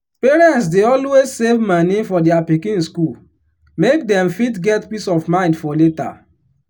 parents dey always save moni for their pikin school make dem fit get peace of mind for later.